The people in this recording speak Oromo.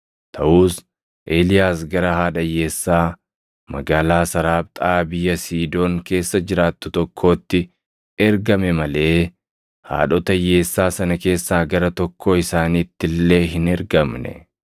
Taʼus Eeliyaas gara haadha hiyyeessaa magaalaa Saraaphtaa biyya Siidoon keessa jiraattu tokkootti ergame malee haadhota hiyyeessaa sana keessaa gara tokkoo isaaniitti illee hin ergamne.